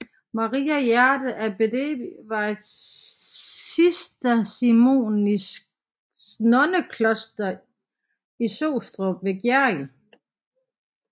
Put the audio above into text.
Maria Hjerte Abbedi var et cisterciensernonnekloster på Sostrup ved Gjerrild